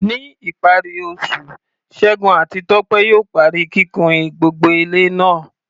Ní ìparí oṣù, Segun àti Tope yóò parí kíkùn gbogbo ilé náà.